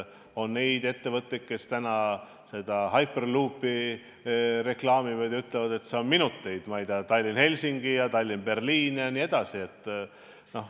On ettevõtteid, kes reklaamivad hyperloop'i ja ütlevad, et sellega kulub minuteid, ma ei tea, et läbida liinid Tallinn–Helsingi, Tallinn–Berliin jne.